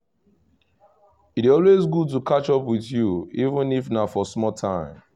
e dey always good to catch up with you even if na for small time